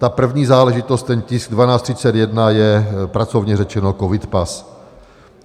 Ta první záležitost, ten tisk 1231, je pracovně řečeno covidpas.